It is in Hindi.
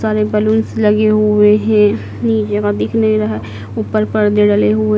सारे बलूंस लगे हुए हैं नीचे का दिख नहीं रहा ऊपर पर्दे डले हुए--